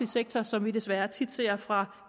sektor som vi desværre tit ser fra